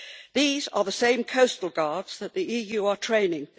These are the same coastal guards that the EU are training.